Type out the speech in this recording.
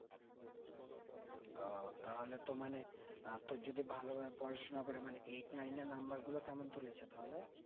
ওহ তাহলে তো মানে আহ তোর যদি ভালোভাবে পড়াশোনা করে মানে eight nine এ number গুলো কেমন তুলেছে তাহলে